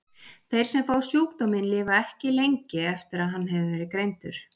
Þeir sem fá sjúkdóminn lifa ekki lengi eftir að hann hefur verið greindur.